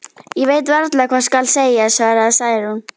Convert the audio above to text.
Ég veit varla hvað skal segja, svaraði Særún.